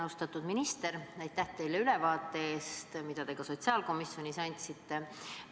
Austatud minister, aitäh teile ülevaate eest, mille te ka sotsiaalkomisjonis andsite!